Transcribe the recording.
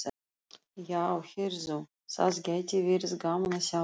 Já, heyrðu. það gæti verið gaman að sjá það!